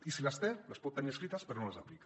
i si les té les pot tenir escrites però no les aplica